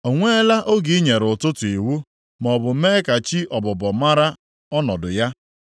“O nweela oge i nyere ụtụtụ iwu, maọbụ mee ka chi ọbụbọ maara ọnọdụ ya,